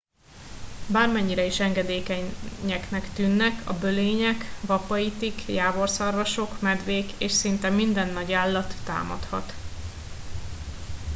bármennyire is engedékenyeknek tűnnek a bölények vapaitik jávorszarvasok medvék és szinte minden nagyállat támadhat